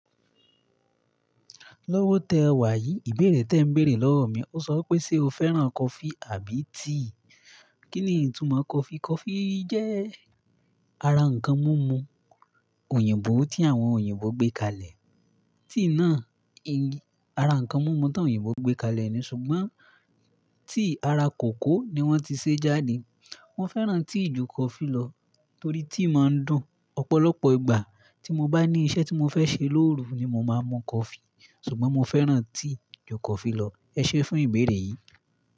Lọ́wọ́tẹ́ wà yí, ìbéèrè te ń béèrè lọ́wọ́ mi. Ó sọ wipé, ṣe o fẹ́ràn coffee àbí tea? Kí ni ìtumọ̀ coffee? Coffee jẹ́ ara nǹkan múmu òyìnbó tí àwọn òyìnbó gbé kalẹ̀. Tea náà ara ǹnkan múmu tí àwọn òyìnbó gbé kalẹ̀ ni ṣùgbọ́n tea ara kòkó ni wọ́n ti ṣe jáde. Mo fẹ́ràn tea jù coffee lọ torí tea máa ń dùn. Ọ̀pọ̀lọpọ̀ ìgbà tí mo bá ní iṣẹ́ tí mo fẹ́ ṣe lóru ni mo máa mú coffee ṣùgbọ́n mo fẹ́ràn tea jù coffee lọ. Ẹ ṣé fún ìbéèrè yìí.